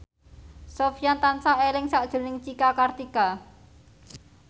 Sofyan tansah eling sakjroning Cika Kartika